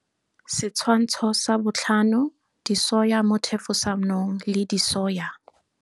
Setshwantsho 5, disoya mo thefosanong le disoya.